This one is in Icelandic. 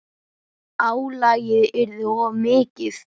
Álagið yrði of mikið.